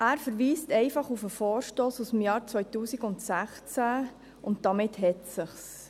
Er verweist auf den Vorstoss aus dem Jahr 2016, und damit hat es sich.